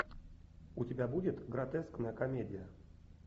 у тебя будет гротескная комедия